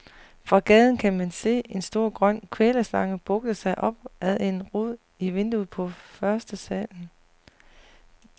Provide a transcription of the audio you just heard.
Fra gaden kan man se en stor grøn kvælerslange bugte sig op ad en rod i vinduet på førstesalen.